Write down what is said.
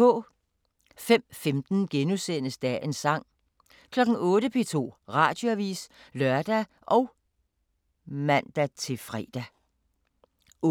05:15: Dagens sang * 08:00: P2 Radioavis *(lør og man-fre) 08:05: